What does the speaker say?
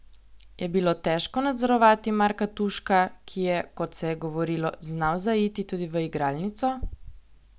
Je bilo težko nadzorovati Marka Tuška, ki je, kot se je govorilo, znal zaiti tudi v igralnico?